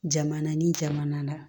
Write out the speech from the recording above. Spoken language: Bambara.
Jamana ni jamana na